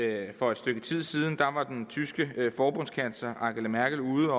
at for et stykke tid siden var den tyske forbundskansler angela merkel ude